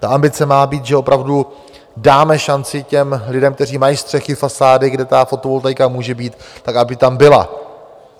Ta ambice má být, že opravdu dáme šanci těm lidem, kteří mají střechy, fasády, kde ta fotovoltaika může být, tak aby tam byla.